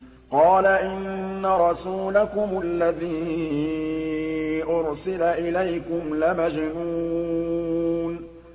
قَالَ إِنَّ رَسُولَكُمُ الَّذِي أُرْسِلَ إِلَيْكُمْ لَمَجْنُونٌ